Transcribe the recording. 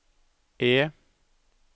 E